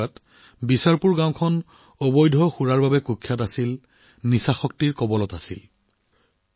সেই সময়ছোৱাত বিচাৰপুৰ গাঁওখন অবৈধ সুৰাৰ বাবে কুখ্যাত আছিল মদ্যপানৰ কবলত পৰিছিল